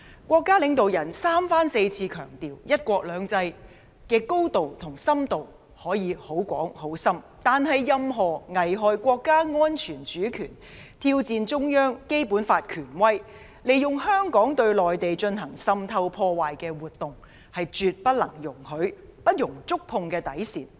國家領導人三番四次強調，"一國兩制"的高度和深度可以很高、很深，但任何危害國家安全、主權，挑戰中央、《基本法》權威，利用香港對內地進行滲透破壞的活動，是絕不能容許的，是不能觸碰的底線。